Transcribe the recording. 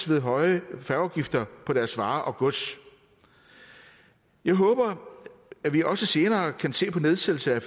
ved høje færgeafgifter på deres varer og gods jeg håber at vi også senere kan se på nedsættelse af